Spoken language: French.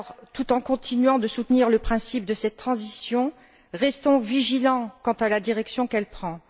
Tout en continuant de soutenir le principe de cette transition, restons vigilants quant à la direction qu'elle prend.